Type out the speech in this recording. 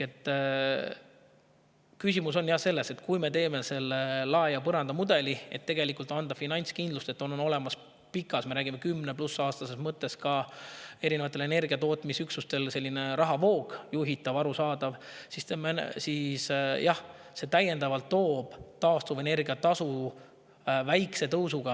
Küsimus on selles, et kui me teeme lae ja põranda mudeli, et anda finantskindlust, et erinevatel energiatootmisüksustel oleks pikas plaanis – me räägime enam kui kümnest aastast – olemas juhitav ja arusaadav rahavoog, siis jah, see toob täiendavalt taastuvenergia tasu väikese tõusu.